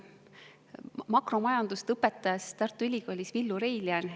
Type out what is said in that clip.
Makromajandust õpetas Tartu Ülikoolis Villu Reiljan.